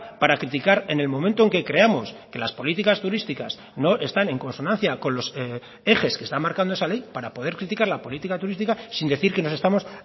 para criticar en el momento en que creamos que las políticas turísticas no están en consonancia con los ejes que está marcando esa ley para poder criticar la política turística sin decir que nos estamos